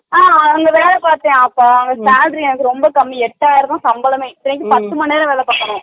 ஆஹ அவங்க வேல பாத்தேன் அப்ப அவங்க salary வந்து ரொம்ப கம்மி எட்டாயிரம் தா சம்பளமே அதுக்கும் பண்ணண்டு மணிநேரம் வேல பாக்கனு